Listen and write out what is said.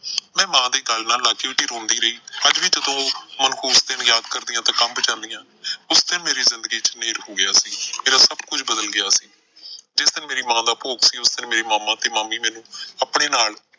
ਮੈਂ ਮਾਂ ਦੇ ਗਲ਼ ਨਾਲ ਲਾ ਕੇ ਉੱਚੀ ਉੱਚੀ ਰੋਂਦੀ ਰਹੀ। ਅੱਜ ਵੀ ਜਦੋਂ ਉਹ ਮਨਹੂਸ ਦਿਨ ਯਾਦ ਕਰਦੀ ਆਂ ਤੇ ਕੰਬ ਜਾਂਦੀ ਆ। ਉਸ ਦਿਨ ਮੇਰੀ ਜ਼ਿੰਦਗੀ ਚ ਨ੍ਹੇਰ ਹੋ ਗਿਆ ਸੀ। ਮੇਰਾ ਸਭ ਕੁਝ ਬਦਲ ਗਿਆ ਸੀ। ਜਿਸ ਦਿਨ ਮੇਰੀ ਮਾਂ ਦਾ ਭੋਗ ਸੀ ਮੇਰੇ ਮਾਮਾ ਤੇ ਮਾਮੀ ਮੈਨੂੰ ਆਪਣੇ ਨਾਲ,